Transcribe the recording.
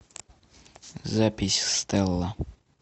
запись стелла